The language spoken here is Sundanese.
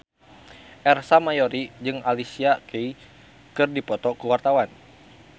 Ersa Mayori jeung Alicia Keys keur dipoto ku wartawan